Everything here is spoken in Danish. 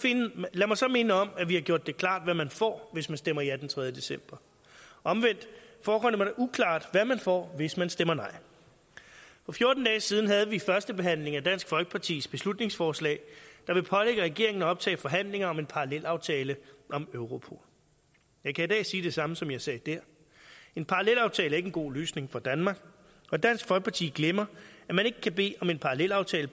lad mig så minde om at vi har gjort det klart hvad man får hvis man stemmer ja den tredje december omvendt forekommer det mig uklart hvad man får hvis man stemmer nej for fjorten dage siden havde vi første behandling af dansk folkepartis beslutningsforslag der vil pålægge regeringen at optage forhandlinger om en parallelaftale om europol jeg kan i dag sige det samme som jeg sagde der en parallelaftale er ikke en god løsning for danmark og dansk folkeparti glemmer at man ikke kan bede om en parallelaftale